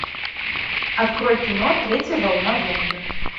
открой кино третья волна зомби